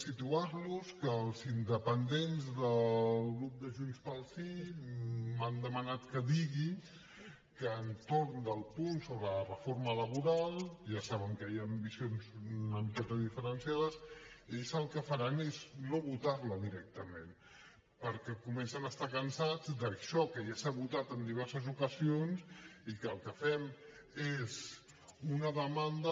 situar los que els independents del grup de junts pel sí m’han demanat que digui que entorn del punt sobre la reforma laboral ja saben que hi han visions una miqueta diferenciades ells el que faran és no votar lo directament perquè comencen a estar cansats d’això que ja s’ha votat en diverses ocasions i el que fem és una demanda